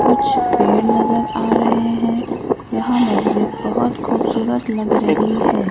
कुछ पेड़ नजर आ रहे हैं यहां मस्जिद बहुत खूबसूरत लग रही है।